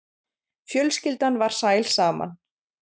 Fjölskyldan var sæl saman.